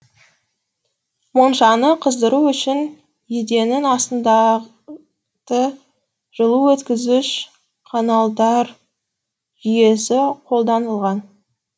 моншаны қыздыру үшін еденнің астында жылу өткізгіш каналдар жүйесі қолданылған